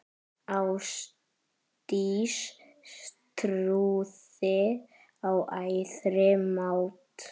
Ástdís trúði á æðri mátt.